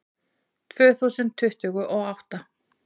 Tvö þúsund tuttugu og átta